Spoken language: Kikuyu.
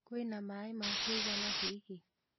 Kwĩna maĩ ma kũigana hihi?